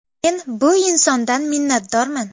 Men bu insondan minnatdorman.